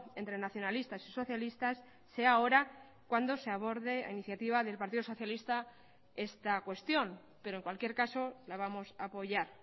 entre nacionalistas y socialistas sea ahora cuando se aborde la iniciativa del partido socialista esta cuestión pero en cualquier caso la vamos a apoyar